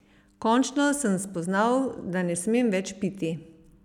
Končno sem spoznal, da ne smem več piti.